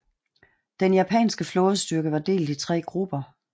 Den japanske flådestyrke var delt i tre grupper